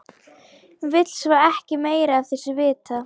Vill svo ekki meira af þessu vita.